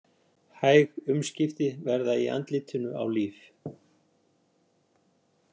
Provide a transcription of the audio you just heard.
Hæg umskipti verða í andlitinu á Líf.